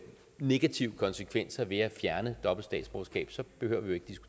negative konsekvenser ved at fjerne dobbelt statsborgerskab så behøver vi